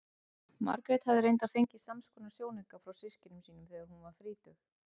Margrét hafði reyndar fengið samskonar sjónauka frá systkinum sínum þegar hún varð þrítug.